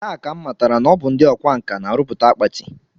Taa ka m matara na ọ bụ ndị ọkwa nkà na-arụpụta akpati